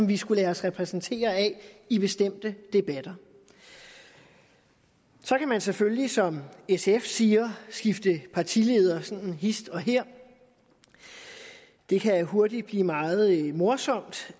vi skulle lade os repræsentere af i bestemte debatter så kan man selvfølgelig som sf siger skifte partileder hist og her det kan hurtigt blive meget morsomt